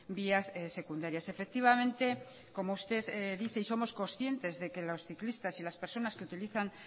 vías secundarias efectivamente como usted dice y somos conscientes de que los ciclistas y las personas que utilizan